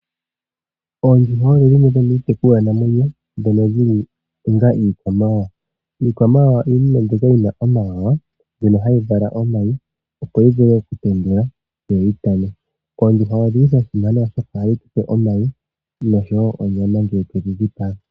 Oondjuhwa odho dhimwe dhomiitekulwa namwenyo ndhono dhili onga iikwamawawa. Iikwamawawa iinima mbyoka yina omawawa mbyono hayi vala omayi, opo yi vule oku tendula, yo yi pame. Oondjuhwa odhili dha simana oshoka ohadhi tupe omayi noshowo onyama ngele twedhi dhipaga.